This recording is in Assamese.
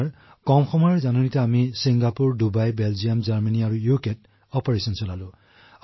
ছাৰ আমি ছিংগাপুৰ ডুবাই বেলজিয়াম জাৰ্মানী আৰু ব্ৰিটেইনলৈ গৈছো